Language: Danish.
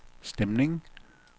stemning